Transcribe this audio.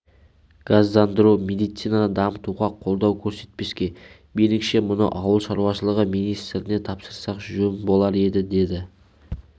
газдандыру медицинаны дамытуға қолдау көрсетпеске меніңше мұны ауыл шаруашылығы министріне тапсырсақ жөн болар еді деді